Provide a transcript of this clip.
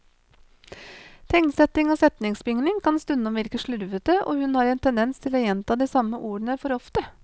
Tegnsetting og setningsbygning kan stundom virke slurvete, og hun har en tendens til å gjenta de samme ordene for ofte.